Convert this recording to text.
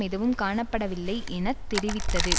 எதுவும் காணப்படவில்லை என தெரிவித்தது